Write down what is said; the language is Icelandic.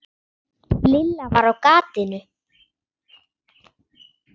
Lilla var á gatinu.